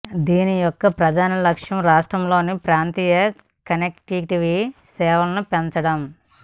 దీని యొక్క ప్రధాన లక్ష్యం రాష్ట్రంలో ప్రాంతీయ కనెక్టివిటీ సేవలను పెంచడం